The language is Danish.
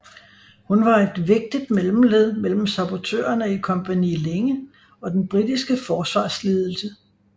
Hun var et vigtigt mellemled mellem sabotørene i Kompani Linge og den britiske forsvarsledelse